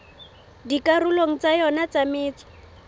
dikarolong tsa yona tsa metso